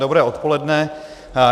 Dobré odpoledne.